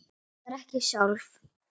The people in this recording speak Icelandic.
Veit það reyndar ekki sjálf.